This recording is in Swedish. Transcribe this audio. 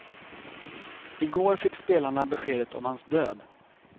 I går fick spelarna beskedet om hans död.